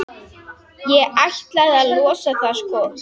Ætlaði að losa það, sko.